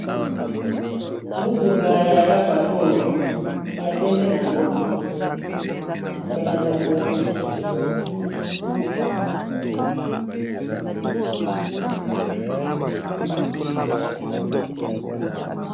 motuka ya rava fo ya pembe na yango ya bajaponais